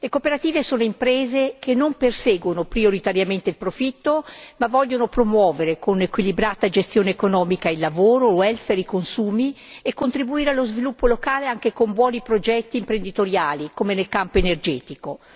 Le cooperative sono imprese che non perseguono prioritariamente il profitto, ma vogliono promuovere con una gestione economica equilibrata il lavoro, il welfare, i consumi e contribuire allo sviluppo locale anche con buoni progetti imprenditoriali come nel campo energetico.